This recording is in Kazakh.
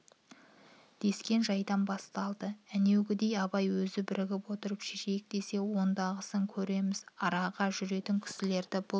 дескен жайдан басталады әнеугідей абай өзі бірігіп отырып шешейік десе ондағысын көреміз араға жүргізетін кісілерді бұл